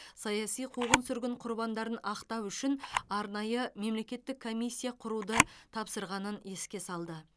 саяси қуғын сүргін құрбандарын ақтау үшін арнайы мемлекеттік комиссия құруды тапсырғанын еске салды